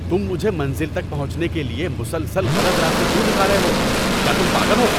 تم مجھے منزل تک پہنچنے کیلئے مسلسل غلط راستے کیوں دکھا رہے ہو۔ کیا تم پاگل ہو؟